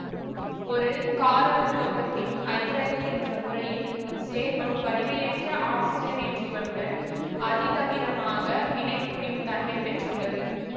ஒரு காரவுலோகத்தின் ஐதரைடு என்ற முறையில் இச்சேர்மம் வலிமையற்ற ஆக்சிசனேற்றிகளுடன் அதி தவிரமாக வினைபுரியும் தன்மை பெற்றுள்ளது